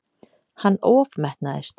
Hann ofmetnaðist.